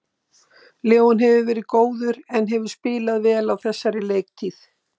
Leon hefur verið góður en hefur spilað vel á þessari leiktíð.